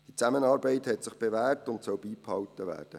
Diese Zusammenarbeit hat sich bewährt und soll beibehalten werden.